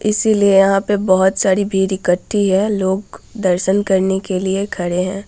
इसलिए यहाँ पे बहुत सारी भीड़ इक्कठ्ठी है लोग दर्शन करने के लिए खड़े है।